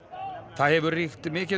það hefur ríkt mikið